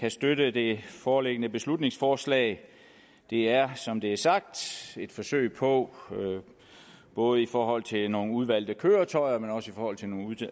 kan støtte det foreliggende beslutningsforslag det er som det er sagt et forsøg på både i forhold til nogle udvalgte køretøjer og i forhold til nogle